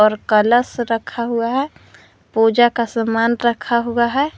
और कलश रखा हुआ है पूजा का समान रखा हुआ है।